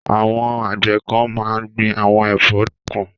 Àwọn àgbẹ̀ kan máa ń gbin àwọn ẹ̀fọ́ nìkan.